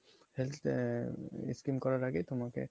health আ~ skim করার আগেই তোমাকে